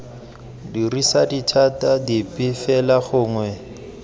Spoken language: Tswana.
dirisa dithata dipe fela gongwe